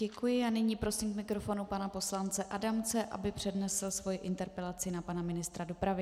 Děkuji a nyní prosím k mikrofonu pana poslance Adamce, aby přednesl svoji interpelaci na pana ministra dopravy.